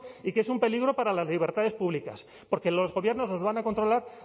y que es un peligro para las libertades públicas porque los gobiernos nos van a controlar